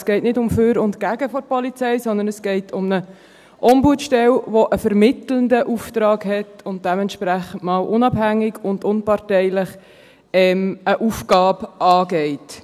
Es geht nicht darum, für oder gegen die Polizei zu sein, sondern es geht um eine Ombudsstelle, die einen vermittelnden Auftrag hat und eine Aufgabe dementsprechend unabhängig und unparteilich angeht.